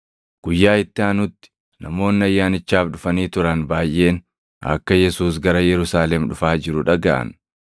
Guyyaa itti aanutti namoonni Ayyaanichaaf dhufanii turan baayʼeen akka Yesuus gara Yerusaalem dhufaa jiru dhagaʼan.